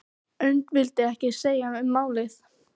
Örn vildi ekkert segja um málið.